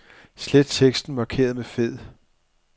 Slet teksten markeret med fed.